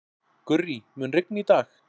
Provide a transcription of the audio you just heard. Gurrí, mun rigna í dag?